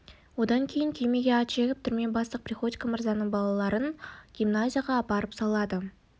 одан кейін күймеге ат жегіп түрме бастық приходько мырзаның балаларын гимназияға апарып салады